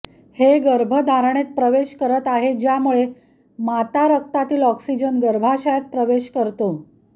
हे गर्भधारणेत प्रवेश करत आहे ज्यामुळे माता रक्तातील ऑक्सिजन गर्भाशयात प्रवेश करतो